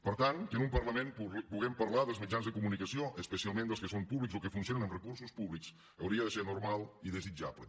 per tant que en un parlament puguem parlar del mitjans de comunicació especialment dels que són públics o que funcionen amb recursos públics hauria de ser normal i desitjable